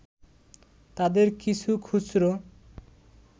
তাদের কিছু খুচরো